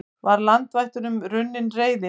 Var landvættunum runnin reiðin?